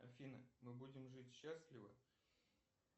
афина мы будем жить счастливо